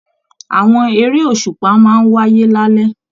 Àwọn eré òṣùpá máa n wáyé lalẹ.